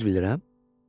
Düz bilirəm?